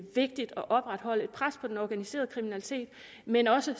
vigtigt at opretholde et pres på den organiserede kriminalitet men også